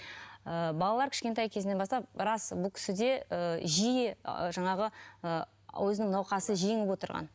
ыыы балалар кішкентай кезінен бастап рас бұл кісіде ііі жиі ы жаңағы ы өзінің науқасы жеңіп отырған